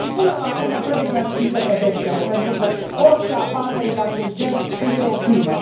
Și, până la urmă, trebuie înăsprite pedepsele, pentru că orice abatere de acest gen este o crimă.